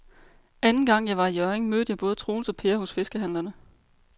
Anden gang jeg var i Hjørring, mødte jeg både Troels og Per hos fiskehandlerne.